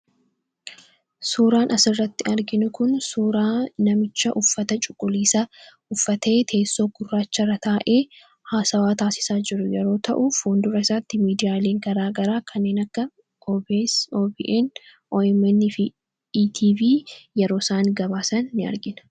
Suuraan as irratti arginu kun suuraa namicha uffata cuquliisaa uffatee teessoo gurraacha irra taa'ee haasawaa taasisaa jiru yeroo ta'u fuundura isaatti miidiyaalee garaa garaa kanneen akka OBS, OBN fi ITV yeroo isaan gabaasan in argina.